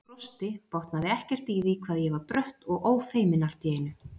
Ég brosti, botnaði ekkert í því hvað ég var brött og ófeimin allt í einu.